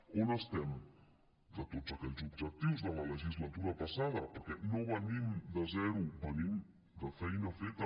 on estem de tots aquells objectius de la legislatura passada perquè no venim de zero venim de feina feta